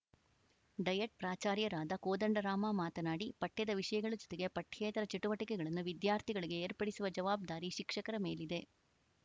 diet ಪ್ರಾಚಾರ್ಯರಾದ ಕೋದಂಡರಾಮ ಮಾತನಾಡಿ ಪಠ್ಯದ ವಿಷಯಗಳ ಜೊತೆಗೆ ಪಠ್ಯೇತರ ಚಟುವಟಿಕೆಗಳನ್ನು ವಿದ್ಯಾರ್ಥಿಗಳಿಗೆ ಏರ್ಪಡಿಸುವ ಜವಾಜ್ದಾರಿ ಶಿಕ್ಷಕರ ಮೇಲಿದೆ